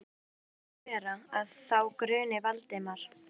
Hvernig má þá vera, að þá gruni Valdimar?